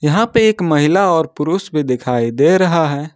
यहां पे एक महिला और पुरुष भी दिखाई दे रहा है।